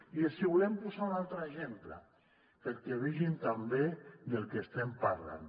i els volem posar un altre exemple perquè vegin també del que estem parlant